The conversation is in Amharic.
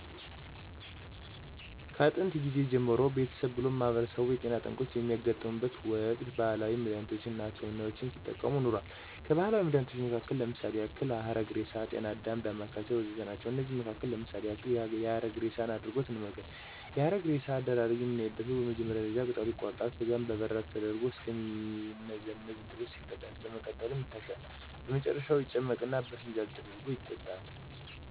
ከጥየንት ጊዜ ጀምሮ ቤተሰብ ብሎም ማህበረሰቡ የጤና ጠንቆች በሚያጋጥሙበት ወቅት ባህላዊ መድሃኒቶች አና ሕክምናዎችን ሲጠቀም ኖሯል። ከባህላዊ መድሃኒቶች መሀከል ለምሳሌ ያክል ሀረግሬሳ፣ ጤናአዳም፣ ዳማከሴ ወዘተ ናቸው። ከነዚህም መሀከል ለምሳሌ ያክል የሀረግሬሳን አድሪጎት እንመልከት፦ የሀረግሬሳ አደራረግ በምናይበተ ወቅት በመጀመሪያ ደረጃ ቅጠሉ ይቆረጣል፣ ከዚያም በበራድ ተደርጎ እስከ ሚመዘምዘው ድረስ ይፈላል፣ በመቀጠልም ይታሻል፣ በመጨረሻም ይጨመቅና በፋንጃል ተደርጎ ይጠጣል።